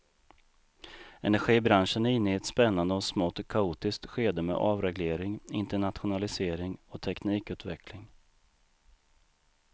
Energibranschen är inne i ett spännande och smått kaotiskt skede med avreglering, internationalisering och teknikutveckling.